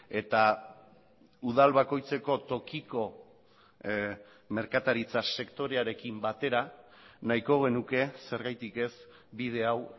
eta udal bakoitzeko tokiko merkataritza sektorearekin batera nahiko genuke zergatik ez bide hau